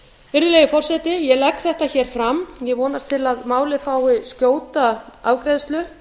virðulegi forseti ég legg þetta fram ég vonast til að málið fái skjóta afgreiðslu